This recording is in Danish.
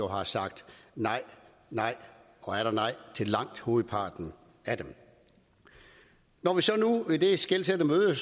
har sagt nej nej og atter nej til langt hovedparten af dem når vi så nu i dette skelsættende møde